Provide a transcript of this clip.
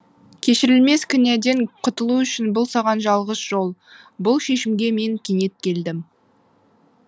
кешірілмес күнәден құтылу үшін бұл саған жалғыз жол бұл шешімге мен кенет келдім